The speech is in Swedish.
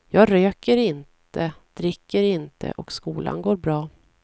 Jag röker inte, dricker inte och skolan går bra.